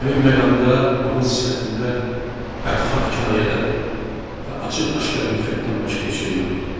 Həmin məqamda onun sifətində bədxah kinayədən və açıq-aşkar nifrətdən başqa heç nə yox idi.